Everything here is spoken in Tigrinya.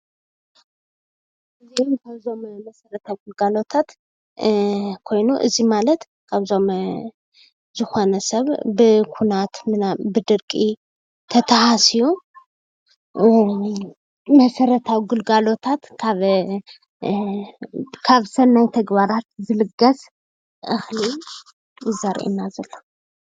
እዚኦም ካብዞም መሰረታዊ ግልጋሎት ኮይኑ እዚ ማለት ከምእዞም ዝኮነ ሰብ ብኩናት፣ ብደርቂ ተተሃስዩ መሰረታዊ ግልጋሎታት ካብ ሰናይ ተግባራት ዝልገስ እክሊ ዘርእየና ዘሎ።